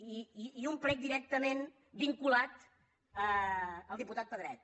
i un prec directament vinculat al diputat pedret